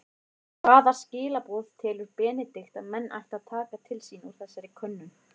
Hvaða skilaboð telur Benedikt að menn ættu að taka til sín úr þessari könnun?